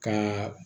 Ka